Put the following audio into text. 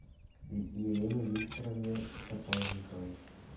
елене викторовне сапожниковой